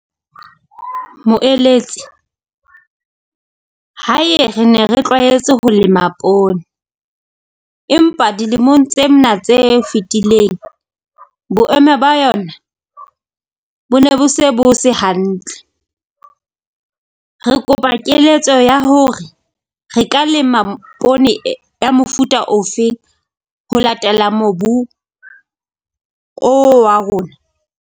Moeletse hae re ne re tlwaetse ho lema poone, empa dilemong tse mna tse fetileng, boemo ba yona bo ne se bo se hantle. Re kopa keletso ya hore re ka lema poone ya mofuta ofeng ho latela mobu o wa rona?